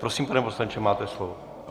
Prosím, pane poslanče, máte slovo.